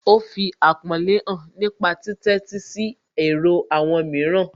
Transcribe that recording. Ó fi àpọ́nlé hàn nípa títẹ́sí sí èrò àwọn mìíràn